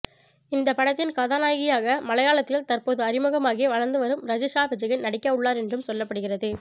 இந்த படத்தின் கதாநாயகியாக மலையாளத்தில் தற்போது அறிமுகமாகி வளர்ந்து வரும் ரஜிஷா விஜயன் நடிக்க உள்ளார் என்றும் சொல்லப்படுகிறது